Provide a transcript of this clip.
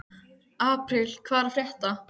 Apríl, hvað er að frétta?